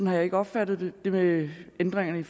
har jeg ikke opfattet det med ændringerne i